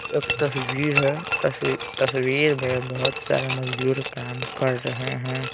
एक तस्वीर हैं तस्वीर में बहुत सारे मजदूर काम कर रहे हैं।